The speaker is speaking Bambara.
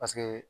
Paseke